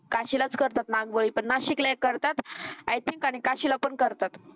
काशीला च करतात नागबळी पण नाशिक लेही करतात. आय थिंक आणि काशीला पण करतात.